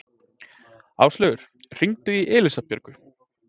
Áslaugur, hringdu í Elísabjörgu.